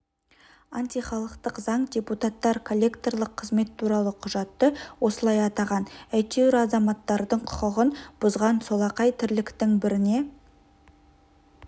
антихалықтық заң депутаттар коллекторлық қызмет туралы құжатты осылай атаған әйтеуір азаматтардың құқығын бұзған солақай тірліктің біріне